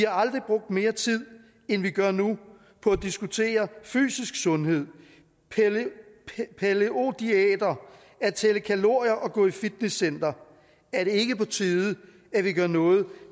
aldrig brugt mere tid end vi gør nu på at diskutere fysisk sundhed palæo diæter at tælle kalorier og gå i fitnesscenter er det ikke på tide at vi gør noget